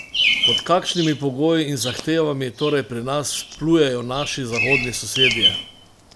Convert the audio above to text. Pod kakšnimi pogoji in zahtevami torej pri nas plujejo naši zahodni sosedje?